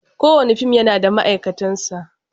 Kowane fim yana da ma'aikatansa.